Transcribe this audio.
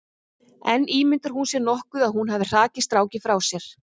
En ímyndar hún sér nokkuð að hún hafi hrakið strákinn frá sér?